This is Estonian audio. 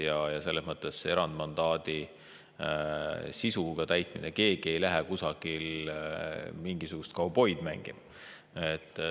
Ja erandmandaadi sisuga täitmisse, siis keegi ei lähe kusagile mingisugust kauboid mängima.